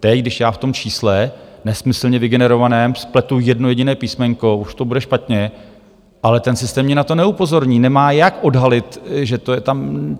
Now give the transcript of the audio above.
Teď, když já v tom čísle nesmyslně vygenerovaném spletu jedno jediné písmenko, už to bude špatně, ale ten systém mě na to neupozorní, nemá jak odhalit, že to je tam...